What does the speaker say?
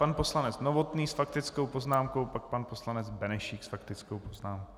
Pan poslanec Novotný s faktickou poznámkou, pak pan poslanec Benešík s faktickou poznámkou.